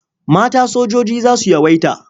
Mata sojoji za su yawaita.